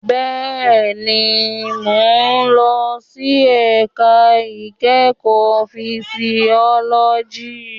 Bẹ́ẹ̀ni, mo ń lọ sí ẹ̀ka ìkẹ́kọ̀ọ́ fisiọ́lọ́jì